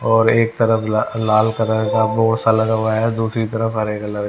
और एक तरफ ल लाल कलर का बोर्ड सा लगा हुआ है और दूसरी तरफ हरे कलर --